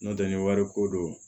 N'o tɛ ni wari ko don